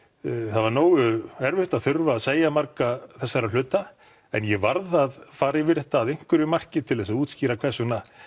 það var nógu erfitt að þurfa að segja marga þessara hluta en ég varð að fara yfir þetta að einhverju marki til þess að útskýra hvers vegna